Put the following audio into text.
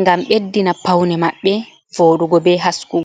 ngam beddina paune maɓɓe vooɗugo be hasku.